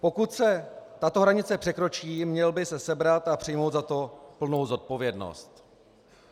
Pokud se tato hranice překročí, měl by se sebrat a přijmout za to plnou zodpovědnost.